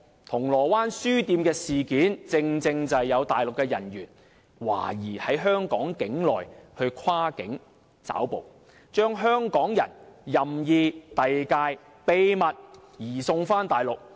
銅鑼灣書店的事件正正是有內地的人員涉嫌在香港境內跨境抓捕，將香港人任意遞解，秘密移送大陸。